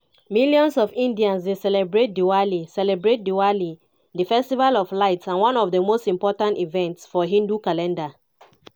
millions of indians dey celebrate diwali celebrate diwali di festival of lights and one of di most important events for hindu calendar.